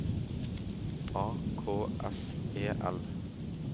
A K S E L